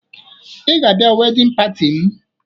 Ị ga-abịa wedịn pati m!